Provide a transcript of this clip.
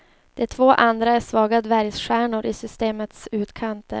De två andra är svaga dvärgstjärnor i systemets utkanter.